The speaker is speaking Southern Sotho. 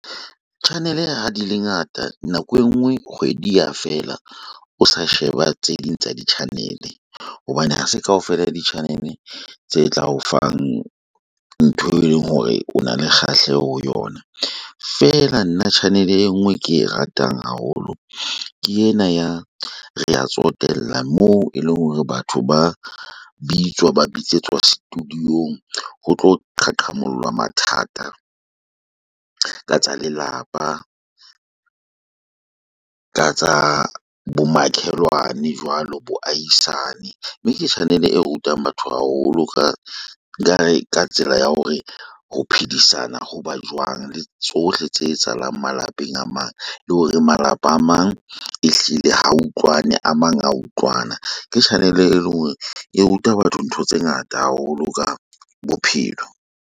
Channel ha di le ngata nako engwe kgwedi ya fela, o sa sheba tse ding tsa di-channel. Hobane hase kaofela di-channel tse tla o fang ntho e leng hore o na le kgahleho ho yona. Feela nna channel e nngwe ke e ratang haholo. Ke ena ya Rea Tsotella, moo e le hore batho ba bitswa ba bitsetswa studio-ng ho tlo qhaqholla mathata. Ka tsa lelapa, ka tsa bomakhelwane jwalo, bo ahisane. Mme ke channel e rutang batho haholo. Ka nkare ka tsela ya hore ho phedisana hoba jwang, le tsohle tse etsahalang malapeng a mang. Le hore malapa a mang, ehlile ha utlwane a mang a utlwana. Ke channel e leng hore e ruta batho ntho tse ngata haholo ka bophelo.